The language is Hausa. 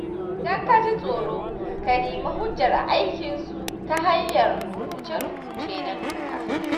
Idan ka ji tsoro, ka nemi hujjar aikinsu ta hanyar rubuce-rubuce na doka.